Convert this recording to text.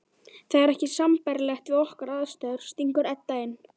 Það er ekki sambærilegt við okkar aðstæður, stingur Edda inn.